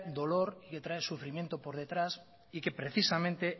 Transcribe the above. dolor y que trae sufrimiento por detrás y que precisamente